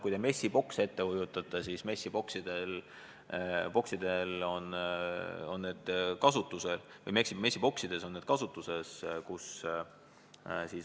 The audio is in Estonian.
Kujutage ette messibokse, seal on neid kasutatud.